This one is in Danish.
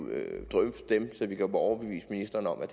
drøfte dem så vi kan få overbevist ministeren om at